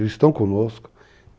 Eles estão conosco.